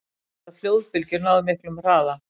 Hvað geta flóðbylgjur náð miklum hraða?